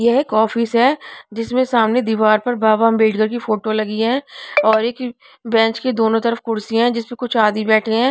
यह एक ऑफिस है जिसमें सामने दीवार पर बाबा अंबेडकर की फोटो लगी है और एक बेंच के दोनों तरफ कुर्सियां है जिस पर कुछ आदि बैठे हैं.